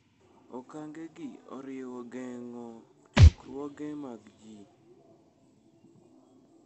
Okange gi oriwo geng'o chokruoge mag ji.